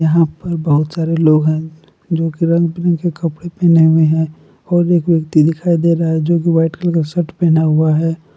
यहां पर बहुत सारे लोग हैं जो की रंग बिरंगे कपड़े पहने हुए हैं और एक व्यक्ति दिखाई दे रहा है जो की वाइट कलर का शर्ट पहना हुआ है।